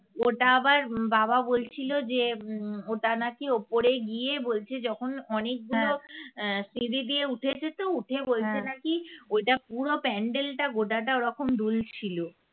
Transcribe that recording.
ওটা আবার উম বাবা বলছিল যে উম ওটা নাকি ওপরে গিয়ে বলছে যখন অনেকগুলো সিঁড়ি দিয়ে উঠেছে তো উঠে বলছে নাকি ঐটা পুরো প্যান্ডেলটা গোটাটা ওরকম দুল ছিল